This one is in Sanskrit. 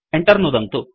Enter नुदन्तु